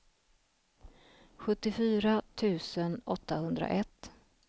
sjuttiofyra tusen åttahundraett